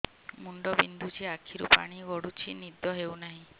ମୁଣ୍ଡ ବିନ୍ଧୁଛି ଆଖିରୁ ପାଣି ଗଡୁଛି ନିଦ ହେଉନାହିଁ